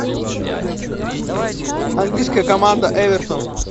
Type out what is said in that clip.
английская команда эвертон